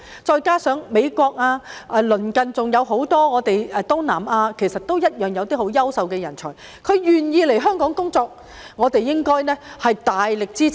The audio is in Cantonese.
再加上美國及鄰近還有很多東南亞國家其實同樣有優秀的人才願意來香港工作，我們應該大力支持。